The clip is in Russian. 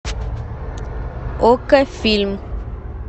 окко фильм